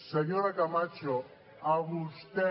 senyora camacho a vostè